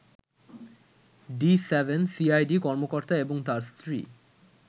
D-7 CID কর্মকর্তা ও তার স্ত্রী